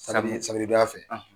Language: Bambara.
donya fɛ.